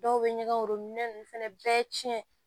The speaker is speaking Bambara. Dɔw bɛ ɲɛgɛn worominɛ ninnu fana bɛɛ tiɲɛ